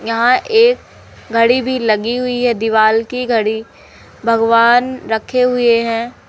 यहां एक घड़ी भी लगी हुई है दीवाल की घड़ी भगवान रखे हुए हैं।